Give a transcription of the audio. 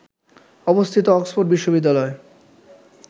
অবস্থিত অক্সফোর্ড বিশ্ববিদ্যালয়